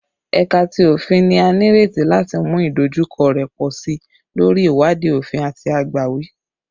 Ẹka ti Ofin ni a nireti lati mu idojukọ rẹ pọ si lori iwadii ofin ati agbawi